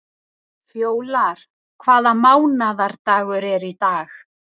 Fjólar, hvaða mánaðardagur er í dag?